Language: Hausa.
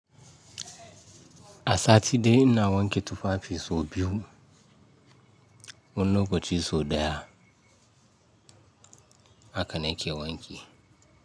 A sati dai ina wanke tufafi sau biyu. Wani lokaci sau daya. Haka na ke wanki.